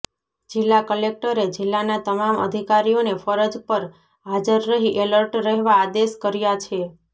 જિલ્લા કલેકટરે જિલ્લાના તમામ અધિકારીઓને ફરજ પર હાજર રહી એલર્ટ રહેવા આદેશ કર્યા છે